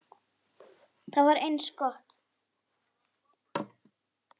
Það var eins gott!